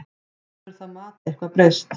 Hefur það mat eitthvað breyst?